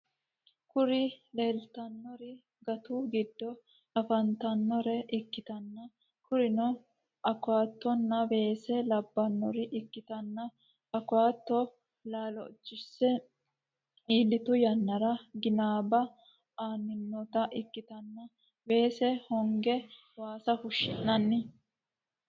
Kuri lelitanori gattu gido afanitanore ikitana kurino acattona wesse labanore ikitana acatto lalichose ilitu yanara ganiba ainanita ikitana wesse honege wassa fushshinanite.